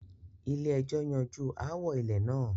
Ilé ẹjọ́ yanjú aáwò ilẹ̀ náà